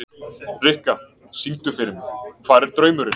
Rikka, syngdu fyrir mig „Hvar er draumurinn“.